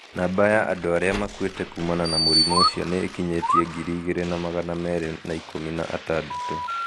Namba ya andu aria makuite kumana na murimu ucio ni ikinyitie ngiri igĩrĩ na magana meerĩ na ikũmi na atandatũ